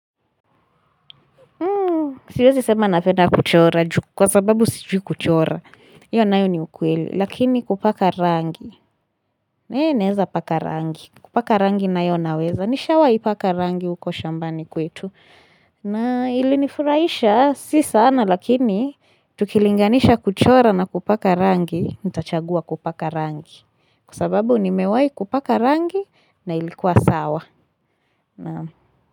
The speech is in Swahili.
Siwezi sema napenda kuchora kwa sababu sijui kuchora Iyo nayo ni ukweli lakini kupaka rangi Naeza paka rangi kupaka rangi nayo naweza. Nishawai paka rangi huko shambani kwetu na ilinifuraisha si sana lakini Tukilinganisha kuchora na kupaka rangi nitachagua kupaka rangi Kwa sababu nimewai kupaka rangi na ilikuwa sawa.